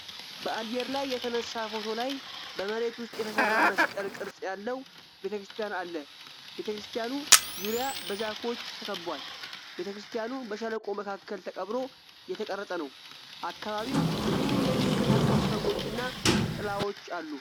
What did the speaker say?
በአየር ላይ የተነሳ ፎቶ ላይ በመሬት ውስጥ የተሰራ መስቀል ቅርጽ ያለው ቤተ ክርስቲያን አለ። ቤተ ክርስቲያኑ ዙሪያ በዛፎች ተከቧል። ቤተ ክርስቲያኑ በሸለቆ መካከል ተቀብሮ የተቀረፀ ነው። አካባቢው ብዙ የሚንቀሳቀሱ ሰዎችና ጥላዎች አሉ።